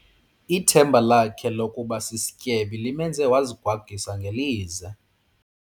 Ithemba lakhe lokuba sisityebi limenze wazigwagwisa ngelize.